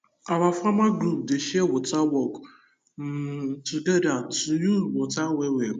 our farmer group dey share water work um together to use water well well